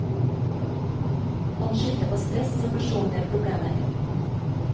Han skyldte på stress og personlige problemer.